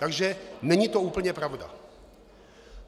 Takže není to úplně pravda.